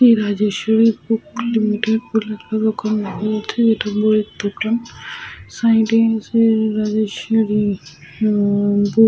Shri Rajeshwari book limited যেটা বইয়ের দোকান। সাইড -এ আছে উনন রাজেশ্বরী বুক --